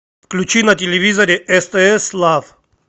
включи на телевизоре стс лав